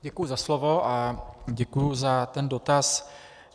Děkuji za slovo a děkuji za ten dotaz.